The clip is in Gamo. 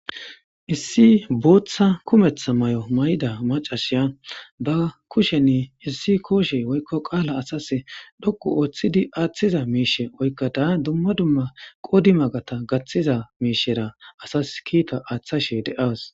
Issi bootha kumetha mayo mayida mac'asiya ba kusheni issi koshe woyko qala dhoqu histidi asas aayhiza mishe oyqad duma duma qodimaga gathiza miishera asas kiita aathashe de'aws.